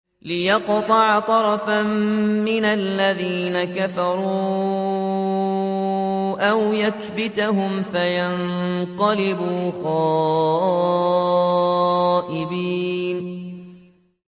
لِيَقْطَعَ طَرَفًا مِّنَ الَّذِينَ كَفَرُوا أَوْ يَكْبِتَهُمْ فَيَنقَلِبُوا خَائِبِينَ